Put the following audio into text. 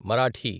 Marathi